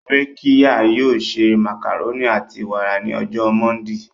Rakiya yoo se macaroni ati wara ni ọjọ Mọndee.